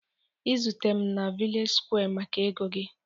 izute m na vllage squa maka ego gị